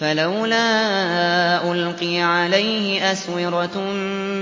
فَلَوْلَا أُلْقِيَ عَلَيْهِ أَسْوِرَةٌ